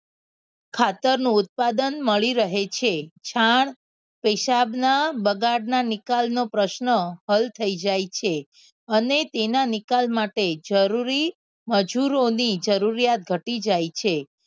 ખાતરનું ઉત્પાદન મળી રહે છે છાણ પેશાબના બગાડના નિકાલ નો પ્રશ્ન હલ થઈ જાય છે અને તેના નિકાલ માટે જરૂરી મજૂરોની જરૂરિયાત ઘટી જાય છે.